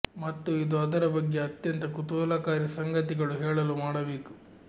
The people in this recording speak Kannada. ಮತ್ತು ಇದು ಅದರ ಬಗ್ಗೆ ಅತ್ಯಂತ ಕುತೂಹಲಕಾರಿ ಸಂಗತಿಗಳು ಹೇಳಲು ಮಾಡಬೇಕು